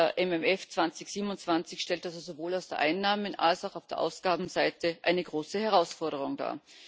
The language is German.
Der MFR 2027 stellt also sowohl auf der Einnahmen als auch auf der Ausgabenseite eine große Herausforderung dar.